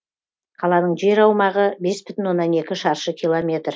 қаланың жер аумағы бес бүтін оннан екі шаршы километр